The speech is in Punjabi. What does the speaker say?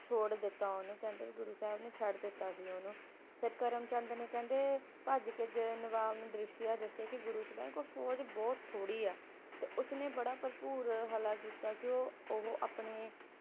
ਛੋੜ ਦਿਤਾ ਉਹਨੂੰ ਕਹਿੰਦੇ ਗੁਰੂ ਸਾਹਿਬ ਨੇ ਛੱਡ ਦਿੱਤਾ ਸੀ ਓਹਨੂੰ। ਫਿਰ ਕਹਿੰਦੇ ਕਰਮ ਚੰਦ ਨੇ ਭੱਜ ਕੇ ਨਵਾਬ ਨੂੰ ਦ੍ਰਿਸਯ ਦੱਸਿਆ ਕਿ ਗੁਰੂ ਸਾਹਿਬ ਕੋਲ ਫੌਜ ਬਹੁਤ ਥੋੜੀ ਹੈ, ਤੇ ਉਸਨੇ ਭਰਪੂਰ ਹਲ੍ਲਾ ਕੀਤਾ ਕਿ ਉਹ ਆਪਣੇ